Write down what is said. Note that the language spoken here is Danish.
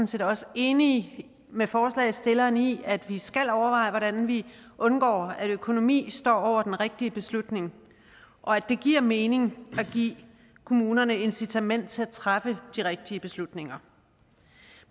set også enig med forslagsstillerne i at vi skal overveje hvordan vi undgår at økonomi står over den rigtige beslutning og at det giver mening at give kommunerne incitament til at træffe de rigtige beslutninger